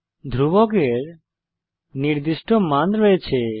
ধ্রুবকের নির্দিষ্ট মান রয়েছে